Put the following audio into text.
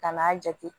Kan'a jate